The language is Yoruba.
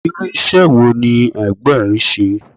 Irú ìṣe wo ní Ẹ̀gbọ́n ẹ ń ṣe?